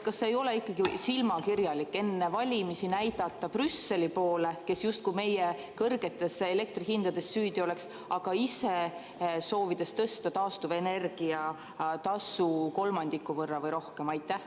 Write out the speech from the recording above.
Kas ei ole silmakirjalik enne valimisi näidata Brüsseli poole, kes justkui meie kõrgetes elektrihindades süüdi oleks, aga ise soovida tõsta taastuvenergia tasu kolmandiku võrra või rohkem?